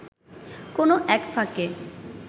কোনো এক ফাঁকে